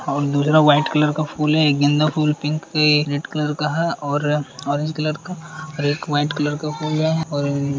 और दूसरा white colour का फूल है। एक गेंदा फूल पिंक है। रेड कलर का है और ऑरेंज कलर वाइट कलर का फूल है और --